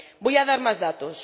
Voy a dar más datos.